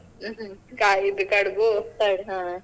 ಕ~ ಇದು kadubu .